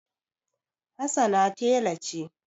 Hassana tela ce.